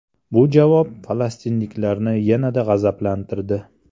Bu javob falastinliklarni yanada g‘azablantirdi.